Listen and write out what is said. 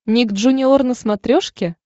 ник джуниор на смотрешке